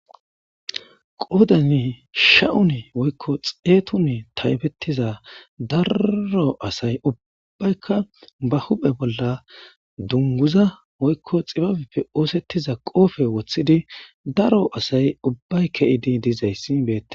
Qoodanne sha7une woykko xeetune taybettiza darro asay ubbaykka ba huphe bolla dungguza woykko xibabeppe oosettiza qoofe woththidi daro asay ubbay ke7idi dizayssi beette.